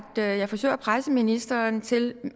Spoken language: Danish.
jeg forsøger at presse ministeren til